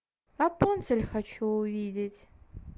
рапунцель хочу увидеть